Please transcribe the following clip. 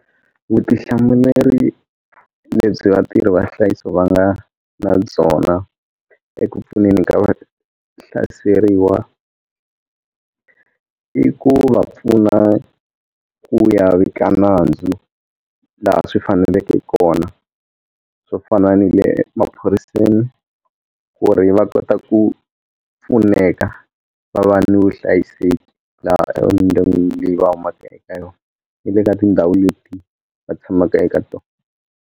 Vutihlamuleri lebyi vatirhi va nhlayiso va nga na byona eku pfuneni ka va hlaseriwa i ku va pfuna ku ya vika nandzu laha swi faneleke kona swo fana ni le emaphoriseni ku ri va kota ku pfuneka va va ni vuhlayiseki laha ni le ka tindhawu leti va tshamaka eka tona.